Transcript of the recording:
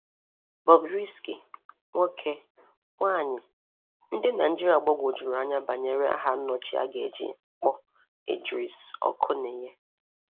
Bobrisky: ‘Nwoke’, ‘Nwanyị’ — Ndị Naịjirịa gbagwojuru anya banyere aha nnọchi a ga-eji kpọọ Idris Okuneye.